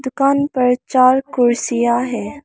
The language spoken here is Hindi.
दुकान पर चार कुर्सियां है।